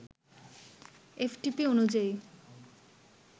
FTP অনুযায়ী